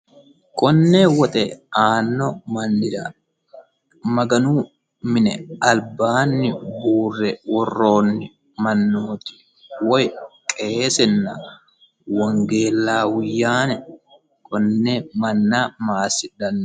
konne woxe aanno mannira maganu mine albaanni uurre worroonni mannooti woy qeesenna wongeellaawuyyaane konne manna maassidhanno